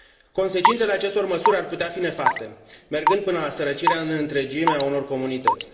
Consecințele acestor măsuri ar putea fi nefaste, mergând până la sărăcirea în întregime a unor comunități.